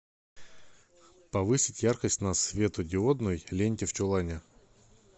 повысить яркость на светодиодной ленте в чулане